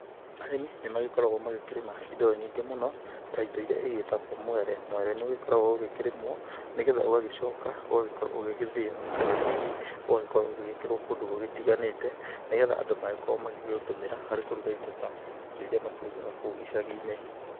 Arĩmi nĩ magĩkoragwo makĩrĩma indo nyingĩ mũno ta indo iria igĩtagwo mwere. Mwere nĩ ũgĩkoragwo ũgĩkĩrĩmwo nĩ getha ũgagĩcoka ũgagĩkorwo ũgĩgĩthĩo, kana hihi ũgagĩkorwo ũgĩkĩrwo kũndũ gũtiganĩte. Nĩ getha magagĩkorwo magĩkĩũtũmĩra kũruga indo ta indo iria makĩrugaga kũu icagi-inĩ.